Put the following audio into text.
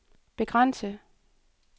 begrænse